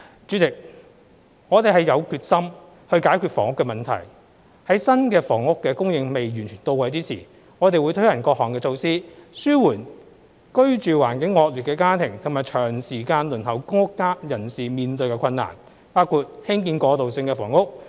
主席，我們是有決心解決房屋問題，在新房屋供應仍未完全到位之時，我們會推行各項措施，紓緩居住環境惡劣的家庭及長時間輪候公屋人士面對的困難，包括興建過渡性房屋。